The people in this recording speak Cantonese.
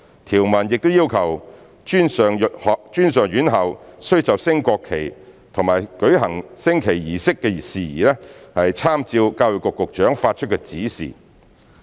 條文亦要求專上院校須就升國旗及舉行升國旗儀式的事宜，參照教育局局長發出的指示。